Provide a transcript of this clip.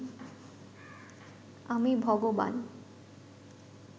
আমি ভগবান